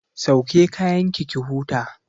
Sauke kayanki ki huta!